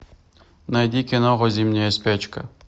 найди киноху зимняя спячка